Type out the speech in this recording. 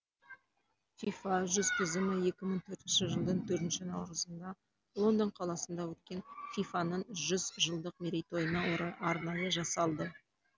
фифа жүз тізімі екі мығ төртінші жылдың төртінші наурызында лондон қаласында өткен фифа ның жүз жылдық мерейтойына орай арнайы жасалды